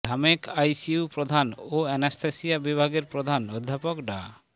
ঢামেক ICU প্রধান ও anaesthesia বিভাগের প্রধান অধ্যাপক ডা